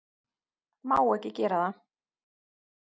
Má ekki gera það.